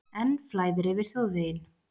Enn flæðir yfir þjóðveginn